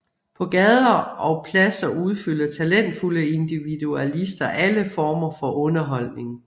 På gader og pladser udfolder talentfulde individualister alle former for underholdning